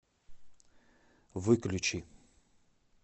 выключи